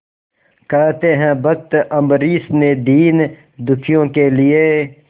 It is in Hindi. कहते हैं भक्त अम्बरीश ने दीनदुखियों के लिए